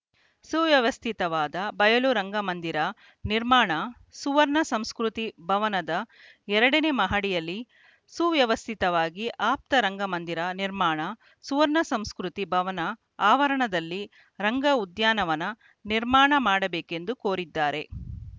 ಸುವ್ಯವಸ್ಥಿತವಾದ ಬಯಲು ರಂಗಮಂದಿರ ನಿರ್ಮಾಣ ಸುವರ್ಣ ಸಂಸ್ಕೃತಿ ಭವನದ ಎರಡನೇ ಮಹಡಿಯಲ್ಲಿ ಸುವ್ಯವಸ್ಥಿತವಾಗಿ ಆಪ್ತ ರಂಗಮಂದಿರ ನಿರ್ಮಾಣ ಸುವರ್ಣ ಸಂಸ್ಕೃತಿ ಭವನದ ಆವರಣದಲ್ಲಿ ರಂಗ ಉದ್ಯಾನವನ ನಿರ್ಮಾಣ ಮಾಡಬೇಕೆಂದು ಕೋರಿದ್ದಾರೆ